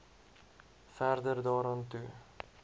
verder daaraan toe